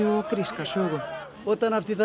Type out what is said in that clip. og gríska sögu